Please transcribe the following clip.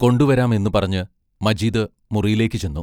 കൊണ്ടുവരാം എന്നു പറഞ്ഞ് മജീദ് മുറിയിലേക്ക് ചെന്നു.